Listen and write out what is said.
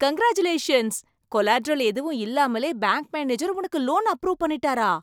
Congratulations! Collateral எதுவும் இல்லாமலே bank manager உனக்கு லோன் அப்ரூவ் பண்ணிட்டாரா?